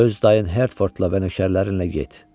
Öz dayın Hertfordla və nökərlərinlə get.